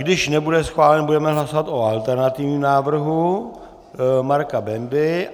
Když nebude schválen, budeme hlasovat o alternativním návrhu Marka Bendy.